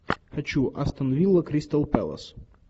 хочу астон вилла кристал пэлас